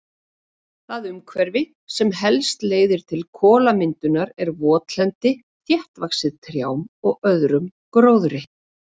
Það umhverfi sem helst leiðir til kolamyndunar er votlendi þéttvaxið trjám og öðrum gróðri.